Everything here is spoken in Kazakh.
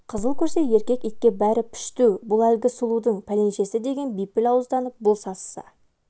қызыл көрсе еркек итке бәрі пішту бұл әлгі сұлудың пәленшесі деген бейпіл ауызданып бұл сасыса